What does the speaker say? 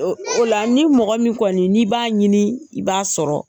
O la ni mɔgɔ min kɔni n'i b'a ɲini i b'a sɔrɔ.